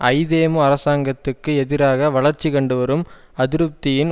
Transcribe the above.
ஐதேமு அரசாங்கத்துக்கு எதிராக வளர்ச்சி கண்டுவரும் அதிருப்தியின்